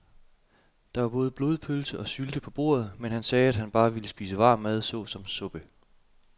Der var både blodpølse og sylte på bordet, men han sagde, at han bare ville spise varm mad såsom suppe.